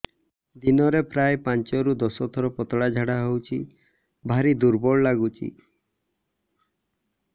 ଦିନରେ ପ୍ରାୟ ପାଞ୍ଚରୁ ଦଶ ଥର ପତଳା ଝାଡା ହଉଚି ଭାରି ଦୁର୍ବଳ ଲାଗୁଚି